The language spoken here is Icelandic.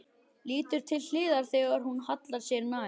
Lítur til hliðar þegar hún hallar sér nær.